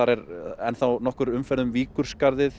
er enn nokkur umferð um Víkurskarð